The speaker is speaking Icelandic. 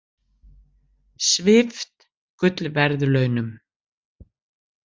Svipt gullverðlaunum